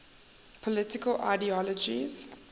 political ideologies